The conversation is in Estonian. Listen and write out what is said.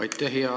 Aitäh!